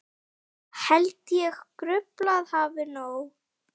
Held ég gruflað hafi nóg.